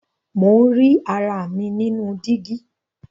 Mo ń rí ara mi nínú dígí.